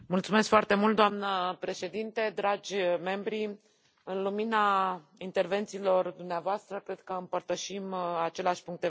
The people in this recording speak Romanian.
Doamnă președintă, în lumina intervențiilor dumneavoastră, cred că împărtășim același punct de vedere.